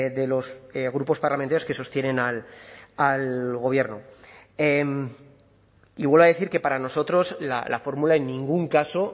de los grupos parlamentarios que sostienen al gobierno y vuelvo a decir que para nosotros la fórmula en ningún caso